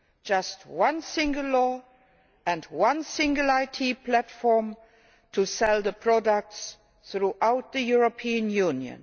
just one single law and one single IT platform to sell the products throughout the European Union